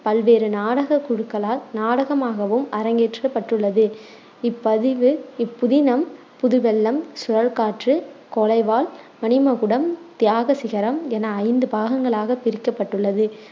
பல்வேறு நாடகக் குழுக்களால் நாடகமாகவும் அரங்கேற்றப்பட்டுள்ளது இப்பதிவு இப்புதினம் புது வெள்ளம், சுழல்காற்று, கொலைவாள், மணிமகுடம், தியாக சிகரம் என ஐந்து பாகங்களாகப் பிரிக்கப்பட்டுள்ளது.